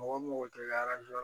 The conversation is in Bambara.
Mɔgɔ mɔgɔ tɛ